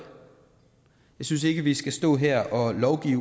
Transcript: synes ikke vi skal stå her og lovgive